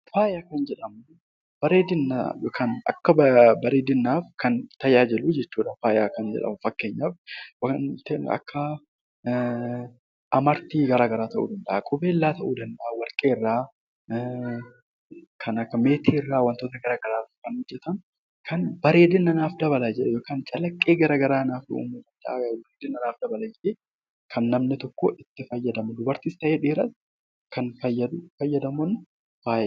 Faaya kan jedhamu bareedina yookaan akka bareedinaaf kan tajaajilu jechuudha faaya kan jedhamu. Fakkeenyaaf waanta akka amartii garaa garaa ta'uu danda'a, qubeellaa ta'uu danda'a, warqee irraa, kan akka meetiirraa waantota gara garaarraa kan hojjetaman bareedina naaf dabala yookaan calaqqee naaf dabala jedhee guddina naaf dabala jedhee namni tokko itti fayyadamu dubartiis ta'e dhiira kan fayyadaman faaya jenna.